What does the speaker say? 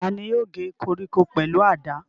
Ta ni yóò gé koríko pẹ̀lú àdá?